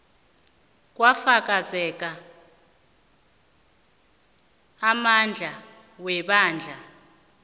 kwafakazelwa amandla webandla